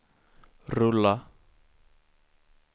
rulla